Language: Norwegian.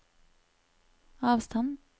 avstand